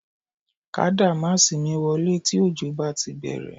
Ká dàmáàsì mi wọlé tí òjò bá ti bẹ̀rẹ̀